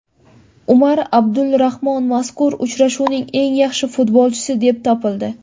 Umar Abdulramon mazkur uchrashuvning eng yaxshi futbolchisi deb topildi.